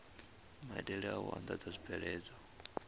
maitele a u andadza zwibveledzwa